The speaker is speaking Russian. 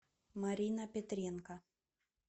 марина петренко